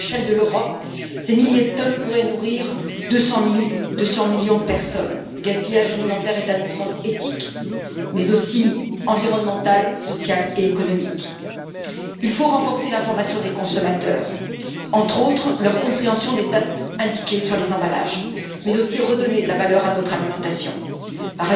À l'échelle de l'Europe, ces milliers de tonnes pourraient nourrir 200 millions de personnes. Le gaspillage alimentaire est un non sens éthique, mais aussi environnemental, social et économique. Il faut renforcer l'information des consommateurs, entre autres leur compréhension des dates indiquées sur les emballages, d'une part, et redonner de la valeur à notre alimentation, d'autre part.